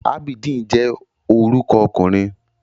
Abideen je oruko okunrin